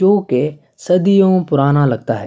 جو کی صدیوں پرانا لگتا ہے-